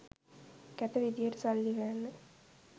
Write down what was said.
කැත විදියට සල්ලි හොයන්න